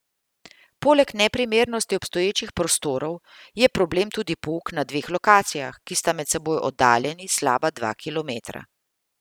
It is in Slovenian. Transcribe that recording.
Poleg neprimernosti obstoječih prostorov je problem tudi pouk na dveh lokacijah, ki sta med seboj oddaljeni slaba dva kilometra.